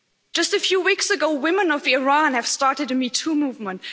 Just a few weeks ago, women of Iran have started a Me Too' movement.